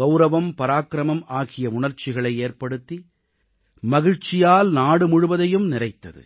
கவுரவம் பராக்கிரமம் ஆகிய உணர்ச்சிகளை ஏற்படுத்தி மகிழ்ச்சியால் நாடு முழுவதையும் நிறைத்தது